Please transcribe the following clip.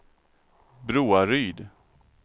Broaryd